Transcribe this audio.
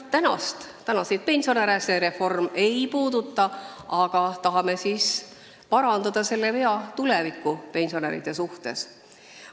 Jah, praegusi pensionäre see reform ei puuduta, aga tahame parandada selle vea tuleviku pensionäride jaoks.